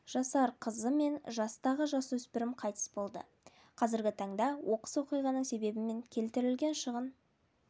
жасар қызы мен жастағы жасөспірім қайтыс болды қазіргі таңда оқыс оқиғаның себебі мен келтірілген шығын